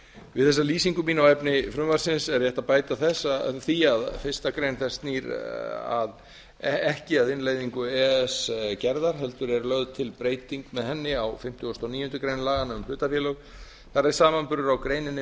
við þessa lýsingu mína á efni frumvarpsins er rétt að bæta því að fyrstu greinar þess snýr ekki að innleiðingu e e s gerðar heldur er lögð til breyting með henni á fimmtugasta og níundu grein laganna um hlutafélög þar eð samanburður á greininni